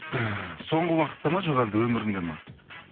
і соңғы уақытта ма жоқ әлде өмірімде ме